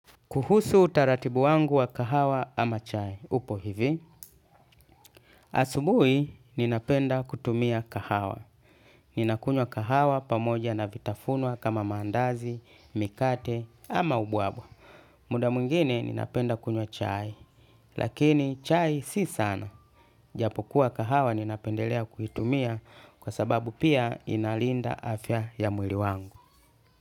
Kuhusu utaratibu wangu wa kahawa ama chai, upo hivi. Asubuhi, ninapenda kutumia kahawa. Ninakunywa kahawa pamoja na vitafunwa kama mandazi, mikate ama ubwabwa. Muda mwingine ninapenda kunywa chai, lakini chai si sana. Japokuwa kahawa ninapendelea kuitumia kwa sababu pia inalinda afya ya mwili wangu.